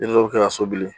Den dɔw bɛ ka so bili